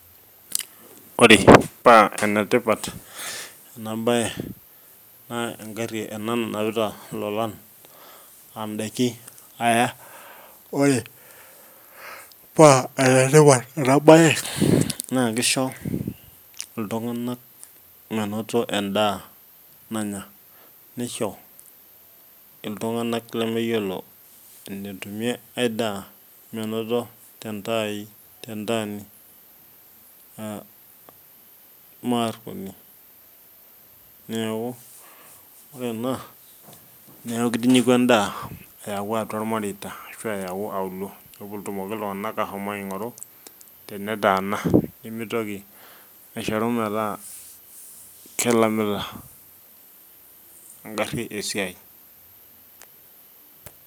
ore paa enetipat ena bae naa egari ena nanapita lolan aa daikin aya. ore paa ene tipat ena bae, naa kisho iltunganak menoto edaa nanya, nisho iltunganak lemeyiolo enetumie ae daa, menoto tentaani.aa mme aruoni, neeku oe ena, neeku kitinyiku edaa ayau atua irmareita ashu ayau atua auluo. pee etumoki iltungana kaashomo aingoru tenetaana. nemitoki aishoru metaa kelamita egari esiai.